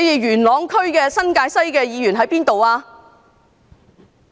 元朗區新界西的議員在哪裏？